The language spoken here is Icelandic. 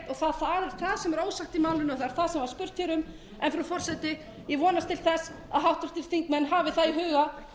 er ósagt í málinu er það sem spurt var um frú forseti ég vonast til þess að háttvirtir þingmenn hafi það